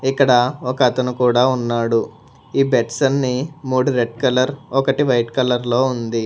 ఇక్కడ ఒక అతను కూడా ఉన్నాడు ఈ బెడ్స్ అన్ని మూడు రెడ్ కలర్ ఒకటి వైట్ కలర్ లో ఉంది.